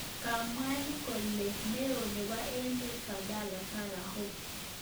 Kamwaa kole neo nepo Emeet Badhadhe Farah Heibe.